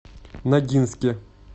ногинске